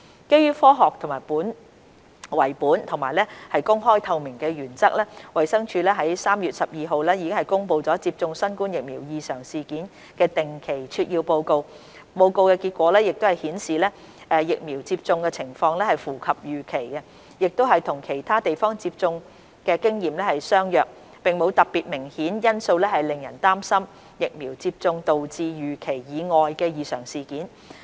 基於科學為本和公開透明的原則，衞生署於3月12日公布接種新冠疫苗異常事件的定期撮要報告，報告結果顯示疫苗接種情況符合預期，亦與其他地方接種經驗相若，並無特別明顯因素令人擔心疫苗接種導致預期以外的異常事件。